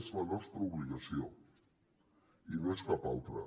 és la nostra obligació i no és cap altra